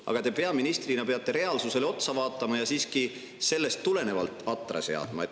Aga te peaministrina peate reaalsusele otsa vaatama ja siiski sellest tulenevalt atra seadma.